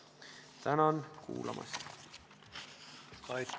Tänan kuulamast!